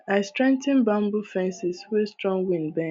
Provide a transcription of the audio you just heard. i straigh ten bamboo fences wey strong wind bend